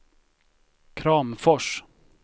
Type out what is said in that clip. Kramfors